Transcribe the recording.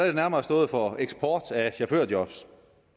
det nærmere stået for eksport af chaufførerjobs